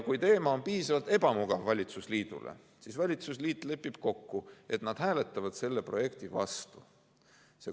Kui teema on valitsusliidule piisavalt ebamugav, siis valitsusliit lepib kokku, et nad hääletavad selle projekti vastu.